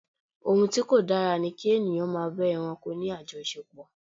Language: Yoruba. Ohun tí kò dára ni kí ènìyàn máa bá ẹranko ní àjọṣepò.